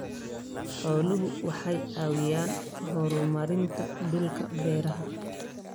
Xooluhu waxay caawiyaan horumarinta dhulka beeraha.